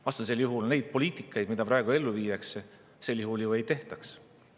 Vastasel juhul seda poliitikat, mida praegu ellu viiakse, ju ei tehtaks.